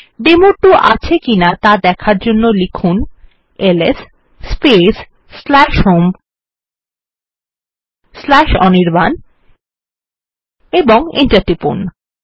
ডেমো2 আছে কিনা দেখার জন্য লিখুন এলএস স্পেস হোম অনির্বাণ এবং এন্টার টিপুন